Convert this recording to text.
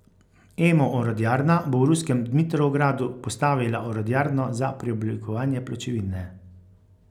Emo orodjarna bo v ruskem Dmitrovgradu postavila orodjarno za preoblikovanje pločevine.